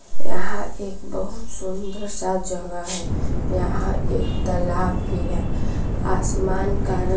यहां एक बहुत सुंदर सा जगह है। यहां एक तलाक भी है। आसमान का रंग--